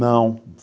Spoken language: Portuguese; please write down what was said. Não.